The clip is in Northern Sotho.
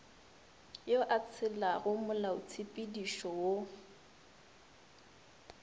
yo a tshelago molaotshepedišo wo